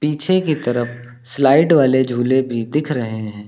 पीछे की तरफ स्लाइड वाले झूले भी दिख रहे हैं।